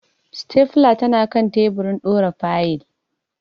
Stapler tanakan teburin dora fayil.